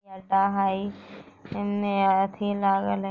हई इन्ने आथि लागल हई।